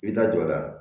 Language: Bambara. I da jɔ la